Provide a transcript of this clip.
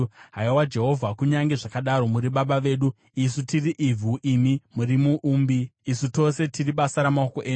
Haiwa, Jehovha, kunyange zvakadaro muri Baba vedu. Isu tiri ivhu, imi muri muumbi; isu tose tiri basa ramaoko enyu.